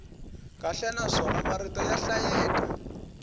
kahle naswona marito ya hlayeka